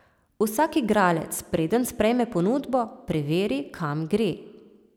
Vsak igralec, preden sprejme ponudbo, preveri, kam gre.